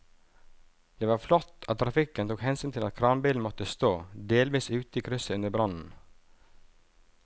Det var flott at trafikken tok hensyn til at kranbilen måtte stå delvis ute i krysset under brannen.